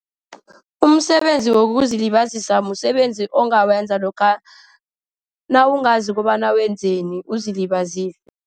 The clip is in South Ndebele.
Umsebenzi wokuzilibazisa msebenzi ongakwenza lokha nawungazi kobana wenzeni, uzilibazise.